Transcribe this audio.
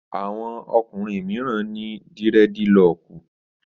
Àwọn ọkùnrin mìíràn ní dírẹ́dilọkù